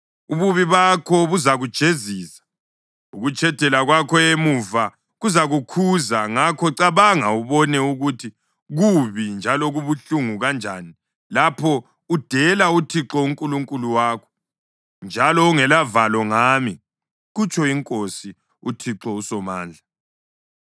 Ububi bakho buzakujezisa; ukutshedela kwakho emuva kuzakukhuza. Ngakho cabanga ubone ukuthi kubi njalo kubuhlungu kanjani lapho udela uThixo uNkulunkulu wakho njalo ungelavalo ngami,” kutsho iNkosi uThixo uSomandla.